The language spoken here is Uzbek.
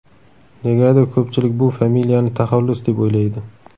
Negadir ko‘pchilik bu familiyani taxallus deb o‘ylaydi”.